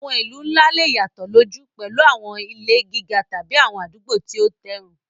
Àwọn ìlú ńlá lè yàtọ̀ lójú, pẹ̀lú àwọn ilé gíga tàbí àwọn àdúgbò tí ó tẹ́rùn.